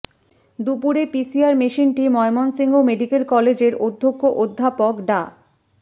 দুপুরে পিসিআর মেশিনটি ময়মনসিংহ মেডিকেল কলেজের অধ্যক্ষ অধ্যাপক ডা